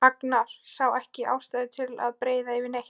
Agnar sá ekki ástæðu til að breiða yfir neitt.